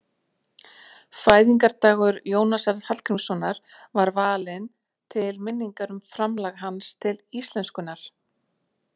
Fæðingardagur Jónasar Hallgrímssonar var valinn til minningar um framlag hans til íslenskunnar.